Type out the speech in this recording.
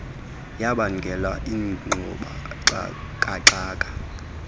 yabangela ingxuba kaxaka